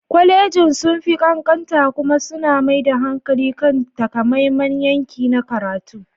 Kwalejin sun fi ƙanƙanta kuma suna mai da hankali kan takamaiman yanki na karatu.